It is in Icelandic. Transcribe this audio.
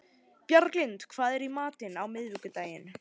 Bjarglind, hvað er í matinn á miðvikudaginn?